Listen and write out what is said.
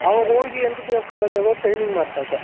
ಅವಾಗ ಹೋಗಿ NTTF collegeಆಗ training ಮಾಡ್ತಾ ಇದ್ದೆ